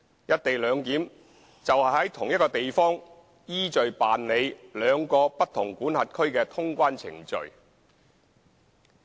"一地兩檢"就是在同一地方依序辦理兩個不同管轄區的通關程序。